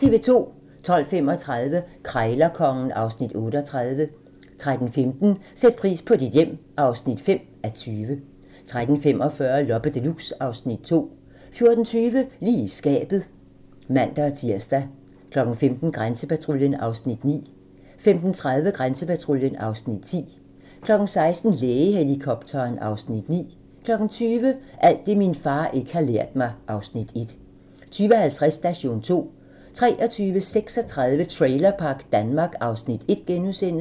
12:35: Krejlerkongen (Afs. 38) 13:15: Sæt pris på dit hjem (5:20) 13:45: Loppe Deluxe (Afs. 2) 14:20: Lige i skabet (man-tir) 15:00: Grænsepatruljen (Afs. 9) 15:30: Grænsepatruljen (Afs. 10) 16:00: Lægehelikopteren (Afs. 9) 20:00: Alt det min far ikke har lært mig (Afs. 1) 20:50: Station 2 23:35: Trailerpark Danmark (Afs. 1)*